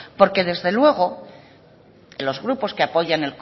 porque desde luego los grupos que apoyan